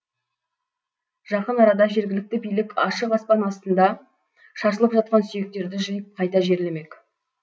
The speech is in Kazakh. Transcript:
жақын арада жергілікті билік ашық аспан астында шашылып жатқан сүйектерді жиып қайта жерлемек